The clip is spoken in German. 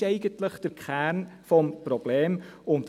Dies ist eigentlich der Kern des Problems.